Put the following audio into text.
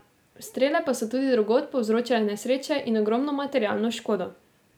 Strele pa so tudi drugod povzročale nesreče in ogromno materialno škodo.